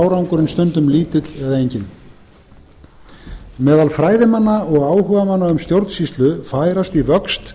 árangurinn stundum lítill eða enginn meðal fræðimanna og áhugamanna um stjórnsýslu færast í vöxt